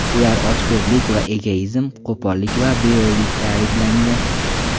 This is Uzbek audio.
Ular ochko‘zlik va egoizm, qo‘pollik va beo‘ylikda ayblangan.